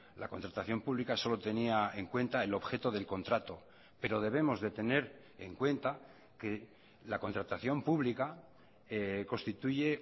la contratación pública solo tenía en cuenta el objeto del contrato pero debemos de tener en cuenta que la contratación pública constituye